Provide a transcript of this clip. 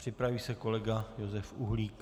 Připraví se kolega Josef Uhlík.